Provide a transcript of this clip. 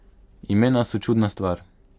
Imena so čudna stvar.